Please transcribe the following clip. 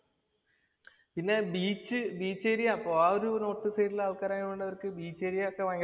പിന്നെ beach beach area അപ്പൊ ആ ഒരു റോഡ്‌ സൈഡില് ആള്‍ക്കാര് ആയോണ്ട് അവര്‍ക്ക് ബീച്ച് ഏരിയ ഒക്കെ ഭയങ്കര ഇഷ്ട